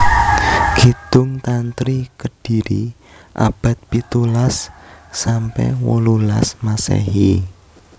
Kidung Tantri Kediri abad pitulas sampe wolulas Masehi